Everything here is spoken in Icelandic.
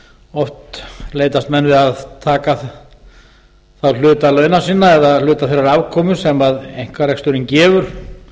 oft leitast menn við að taka þá hluta launa sinna eða hluta þeirrar afkomu sem einkareksturinn gefur